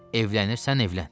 Evlənirsən, evlən.